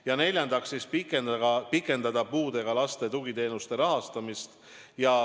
Ja neljandaks, pikendada tuleb puudega laste tugiteenuste rahastamist.